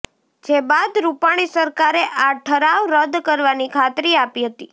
જે બાદ રુપાણી સરકારે આ ઠરાવ રદ કરવાની ખાતરી આપી હતી